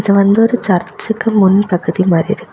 இது வந்து ஒரு சர்ச்சுக்கு முன்பகுதி மாதிரி இருக்கு.